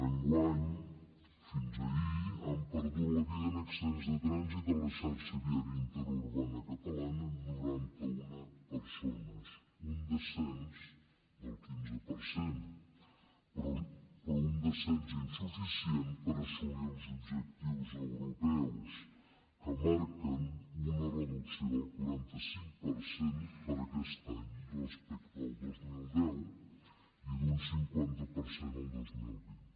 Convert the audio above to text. enguany fins ahir han perdut la vida en accidents de trànsit a la xarxa viària interurbana catalana noranta una persones un descens del quinze per cent però un descens insuficient per assolir els objectius europeus que marquen una reducció del quaranta cinc per cent per a aquest any respecte del dos mil deu i d’un cinquanta per cent el dos mil vint